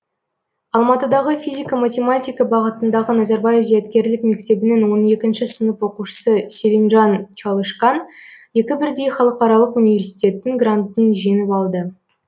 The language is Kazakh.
алматыдағы физика математика бағытындағы назарбаев зияткерлік мектебінің он екінші сынып оқушысы селимжан чалышкан екі бірдей халықаралық университеттің грантын жеңіп алды